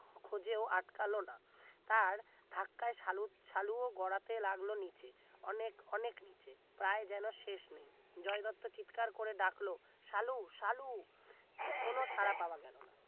খোজেও আটকালো না তার ধাক্কায় সালু সালুও গড়াতে লাগলো নিচে অনেক অনেক নিচে প্রায় যেন শেষ নেই জয় দত্তর চিৎকার করে ডাকলো সালু সালু কোন সাড়া পাওয়া গেল না